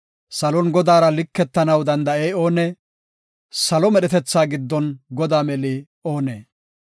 Salon Godaara liketanaw danda7ey oonee? Salo medhetethata giddon Godaa meli oonee?